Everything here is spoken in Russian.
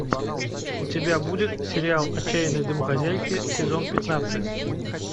у тебя будет сериал отчаянные домохозяйки сезон пятнадцать